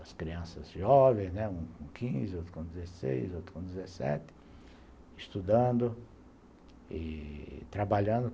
As crianças jovens, né, um com quinze, outro com dezesseis, outro com 17, estudando e trabalhando.